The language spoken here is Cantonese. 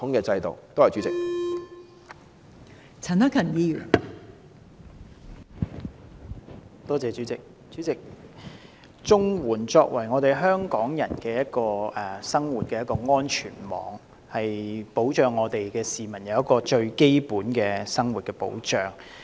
代理主席，綜合社會保障援助是香港人的生活安全網，為市民提供最基本的生活保障。